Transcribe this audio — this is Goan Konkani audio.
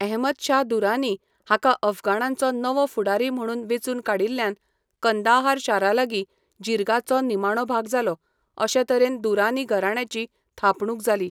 अहमदशाह दुरानी हाका अफगाणांचो नवो फुडारी म्हूण वेंचून काडिल्ल्यान कंदाहार शारालागीं जिर्गाचो निमाणो भाग जालो, अशे तरेन दुरानी घराण्याची थापणूक जाली.